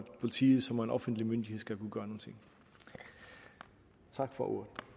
politiet som er en offentlig myndighed skal kunne gøre nogle ting tak for